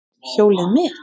Hjólið mitt!